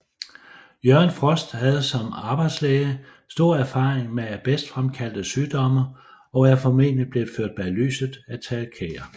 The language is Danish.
Jørgen Frost havde som arbejdslæge stor erfaring med asbestfremkaldte sygdomme og er formentlig blevet ført bag lyset af Tage Kjær